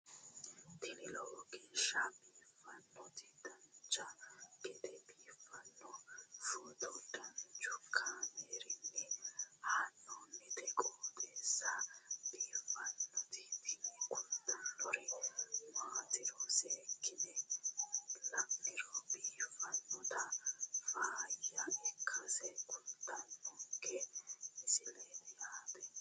tini lowo geeshsha biiffannoti dancha gede biiffanno footo danchu kaameerinni haa'noonniti qooxeessa biiffannoti tini kultannori maatiro seekkine la'niro biiffannota faayya ikkase kultannoke misileeti yaate